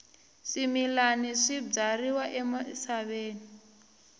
swimilana swi byariwa emisaveni